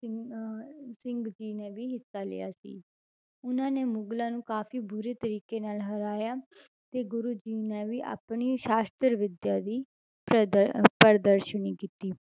ਸਿੰਘ ਅਹ ਸਿੰਘ ਜੀ ਨੇ ਵੀ ਹਿੱਸਾ ਲਿਆ ਸੀ, ਉਹਨਾਂ ਨੇ ਮੁਗਲਾਂ ਨੂੰ ਕਾਫ਼ੀ ਬੁਰੇ ਤਰੀਕੇ ਨਾਲ ਹਰਾਇਆ ਤੇ ਗੁਰੂ ਜੀ ਨੇ ਵੀ ਆਪਣੀ ਸ਼ਾਸ਼ਤਰ ਵਿੱਦਿਆ ਦੀ ਪ੍ਰਦਰ~ ਅਹ ਪ੍ਰਦਰਸ਼ਨੀ ਕੀਤੀ।